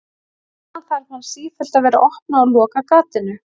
Síðan þarf hann sífellt að vera að opna og loka gatinu.